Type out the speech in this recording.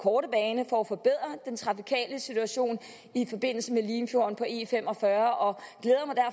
korte bane for at forbedre den trafikale situation i forbindelse med limfjorden på e45